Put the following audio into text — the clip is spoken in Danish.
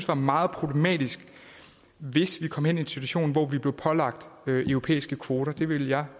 var meget problematisk hvis vi kom i en situation hvor vi blev pålagt europæiske kvoter det ville jeg